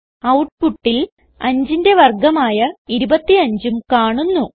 ഔട്ട്പുട്ടിൽ 5ന്റെ വർഗമായ 25ഉം കാണുന്നു